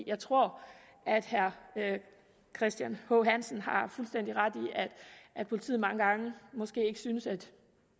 jeg tror at herre christian h hansen har fuldstændig ret i at politiet mange gange måske ikke synes at